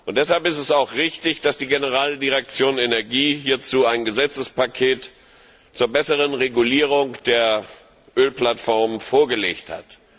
Deshalb ist es auch richtig, dass die Generaldirektion Energie hierzu ein Gesetzespaket zur besseren Regulierung der Ölplattformen vorgelegt hat.